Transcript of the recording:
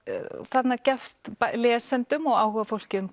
þarna gefst lesendum og áhugafólki um